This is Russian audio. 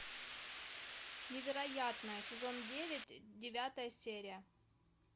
невероятное сезон девять девятая серия